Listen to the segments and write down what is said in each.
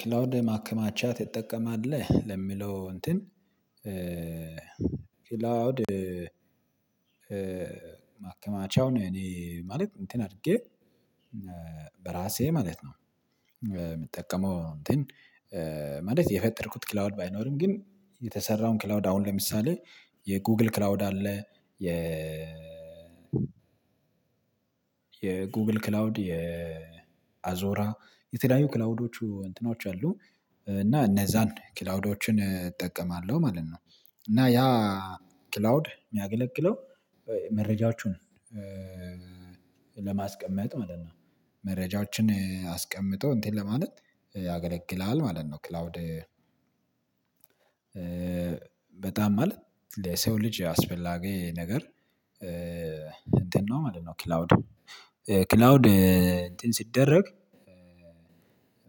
ክላውድ ማከማቻ ትጠቀማለህ ለሚለው እንትን ክላውድ ማከማቻውን እኔ ማለት እንትን አርጌ በራሴ ማለት ነው። የምጠቀመው እንትን ማለት የፈጠርኩት ክላውድ ባይኖርም ግን የተሰራውን ክላውድ አሁን ለምሳሌ የጎግል ክላውድ አለ የ የጎግል ክላውድ የአዞራ የተለያዩ ክላውዶቹ እንትኖች አሉ እና እነዛን ክላውዶችን እጠቀማለሁ ማለት ነው። እና ያ ክላውድ የሚያገለግለው መረጃዎቹን ለማስቀመጥ ማለት ነው። መረጃዎችን አስቀምጦ እንትን ለማለት ያገለግላል ማለት ነው። ክላውድ በጣም ማለት ለሰው ልጅ አስፈላጊ ነገር እንትን ነው ማለት ነው። ክላውድ ክላውድ እንትን ሲደረግ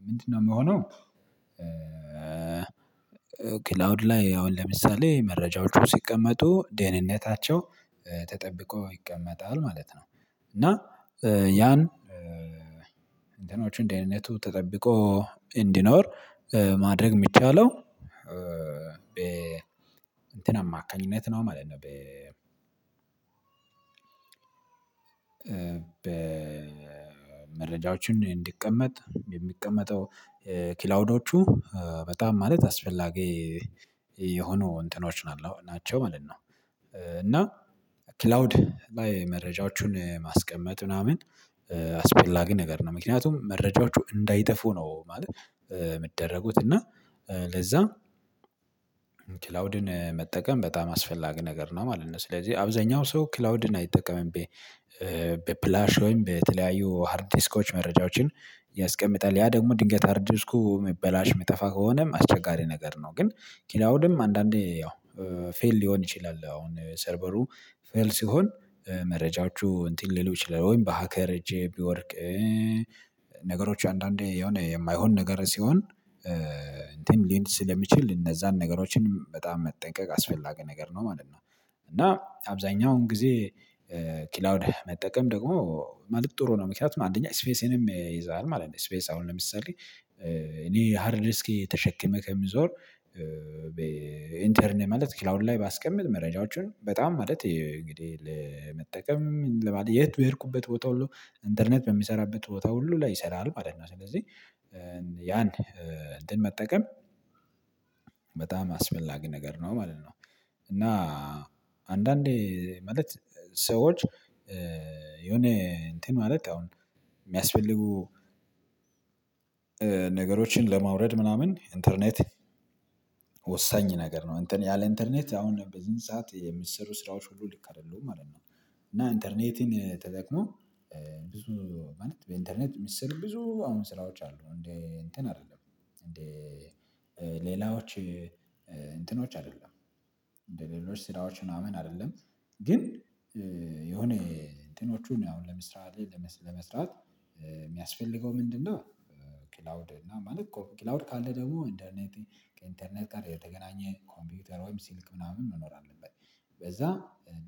ምንድነው? የሚሆነው ክላውድ ላይ አሁን ለምሳሌ መረጃዎቹ ሲቀመጡ ደህንነታቸው ተጠብቆ ይቀመጣል ማለት ነው። እና ያን እንትኖችን ደህንነቱ ተጠብቆ እንዲኖር ማድረግ የሚቻለው በ እንትን አማካኝነት ነው ማለት ነው። በ በ መረጃዎችን እንዲቀመጥ የሚቀመጠው ክላውዶቹ በጣም ማለት አስፈላጊ የሆኑ እንትኖች ናቸው ማለት ነው። እና ክላውድ ባይ መረጃዎችን ማስቀመጥ ምናምን አስፈላጊ ነገር ነው ምክንያቱም መረጃዎቹ እንዳይጠፉ ነው። ማለት የሚደረጉት እና ለዛ ክላውድን መጠቀም በጣም አስፈላጊ ነገር ነው ማለት ነው። ስለዚህ አብዛኛው ሰው ክላውድን አይጠቀምም። በፍላሽ ወይም በተለያዩ ሃርድ ዲስኮች መረጃዎችን ያስቀምጣል ያ ደግሞ ድንገት ሃርድ ዲስኩ እሚበላሽ የሚጠፋ ከሆነም አስቸጋሪ ነገር ነው። ግን ክላውድም አንዳንዴ ያው ፌል ሊሆን ይችላል አሁን ሰርቨሩ ፌል ሲሆን መረጃዎቹ እንትን ሊሉ ይችላል ወይም በሀከር እጄ ቢወድቅ ነገሮች አንዳንዴ የሆነ የማይሆን ነገር ሲሆን እንትን ሊል ስለሚችል እነዛን ነገሮችን በጣም መጠንቀቅ አስፈላጊ ነገር ነው ማለት ነው። እና አብዛኛውን ጊዜ ክላውድ መጠቀም ደግሞ ማለት ጥሩ ነው ምክንያቱም አንደኛ ስፔስንም ይይዛል ማለት ነው። ስፔስ አሁን ለምሳሌ እኔ ሃርድ ተሸክመህ ከምትዞር ኢንተርን ማለት ክላውንድ ላይ ባስቀምጥ መረጃዎቹን በጣም ማለት እንግዲህ ለመጠቀም ለማለት የት በሄድኩበት ቦታ ሁሉ ኢንተርኔት በሚሰራበት ቦታ ሁሉ ላይ ይሰራል። ማለት ነው ስለዚህ ያን እንትን መጠቀም በጣም አስፈላጊ ነገር ነው ማለት ነው። እና አንዳንዴ ማለት ሰዎች የሆነ እንትን ማለት አሁን የሚያስፈልጉ ነገሮችን ለማውረድ ምናምን ኢንተርኔት ወሳኝ ነገር ነው ያለ ኢንተርኔት አሁን በዚህን ሰዓት የሚሰሩ ስራዎች ሁሉ ልክ አይደሉም ማለት ነው። እና ኢንተርኔትን ተጠቅሞ ብዙ ማለት በኢንተርኔት የሚሰሩ ብዙ አሁን ስራዎች አሉ እንደ እንትን አይደለም እንደ ሌላዎች እንትኖች አይደለም እንደሌሎች ስራዎች ምናምን አይደለም ግን የሆነ እንትኖቹን አሁን ለምሳሌ ለመስራት የሚያስፈልገው ምንድነው? ክላውድ እና ማለት ኮ ክላውድ ካለ ደግሞ ኢንተርኔት ከኢንተርኔት ጋር የተገናኘ ኮምፒውተር ወይም ስልክ ምናምን መኖር አለበት። በዛ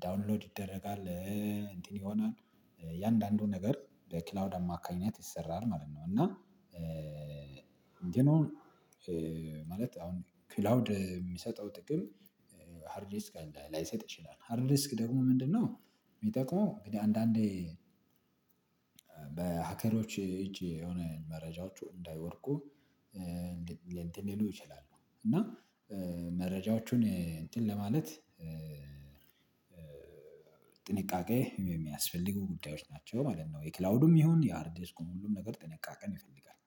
ዳውንሎድ ይደረጋል። እንትን ይሆናል እያንዳንዱ ነገር በክላውድ አማካኝነት ይሰራል ማለት ነው። እና እንዲህ ነው። ማለት አሁን ክላውድ የሚሰጠው ጥቅም ሃርድ ዲስክ አለ ላይሰጥ ይችላል ሃርድ ዲስክ ደግሞ ምንድነው? የሚጠቅመው እንግዲህ አንዳንዴ በሀከሮች እጅ የሆነ መረጃዎቹ እንዳይወድቁ እንትን ሊሉ ይችላሉ እና መረጃዎቹን እንትን ለማለት ጥንቃቄ የሚያስፈልጉ ጉዳዮች ናቸው ማለት ነው። የክላውዱም ይሁን የሃርድ ዲስኩም ሁሉም ነገር ጥንቃቄን ይፈልጋል